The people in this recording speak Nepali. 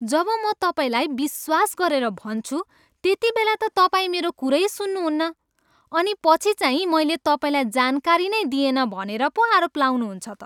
जब म तपाईँलाई विश्वास गरेर भन्छु त्यतिबेला त तपाईँ मेरो कुरै सुन्नुहुन्न अनि पछि चाहिँ मैले तपाईँलाई जानकारी नै दिएन भनेर पो आरोप लाउनुहुन्छ त।